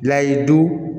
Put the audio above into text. Layidu